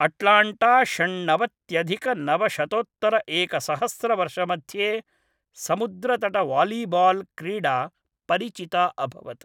Atlanta षण्णवत्यधिकनवशतोत्तरएकसहस्रवर्षमध्ये समुद्रतटवालीबाल् क्रीडा परिचिता अभवत्।